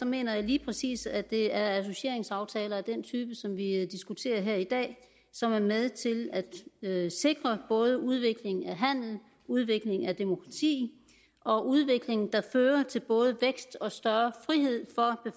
mener jeg lige præcis at det er associeringsaftaler af den type som vi diskuterer her i dag som er med til at sikre både udviklingen af handel udviklingen af demokrati og udviklingen der fører til både vækst og større frihed